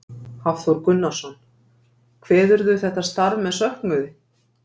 Hafþór Gunnarsson: Kveðurðu þetta starf með söknuði?